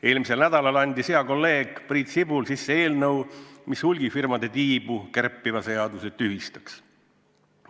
Eelmisel nädalal andis hea kolleeg Priit Sibul sisse eelnõu, mille eesmärk on hulgimüügifirmade tiibu kärpiv seadus tühistada.